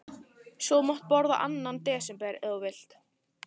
Svo þú mátt borða annan desember, ef þú vilt.